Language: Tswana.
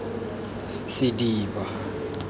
sediba